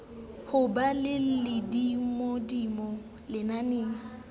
ho ba ka hodimodimo lenaneng